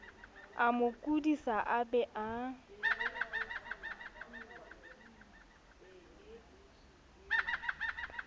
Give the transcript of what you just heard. amo kodisa a be a